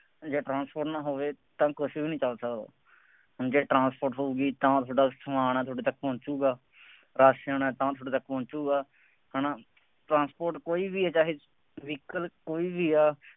ਜੇ ਟਰਾਂਸਪੋਰਟ ਨਾ ਹੋਵੇ ਤਾਂ ਕੁੱਛ ਵੀ ਨਹੀਂ ਚੱਲ ਸਕਦਾ। ਹੁਣ ਜੇ ਟਰਾਂਸਪੋਰਟ ਹੋਊਗੀ ਤਾਂ ਤੁਹਾਡਾ ਸਮਾਨ ਹੈ ਤੁਹਾਡੇ ਤੱਕ ਪਹੁੰਚੂਗਾ। ਰਾਸ਼ਨ ਤਾਂ ਤੁਹਾਡੇ ਤੱਕ ਪਹੁੰਚੂਗਾ, ਹੈ ਨਾ, ਟਰਾਂਸਪੋਰਟ ਕੋਈ ਵੀ ਆ ਚਾਹੇ ਦਿੱਖ ਵਿੱਚ ਕੋਈ ਵੀ ਆ,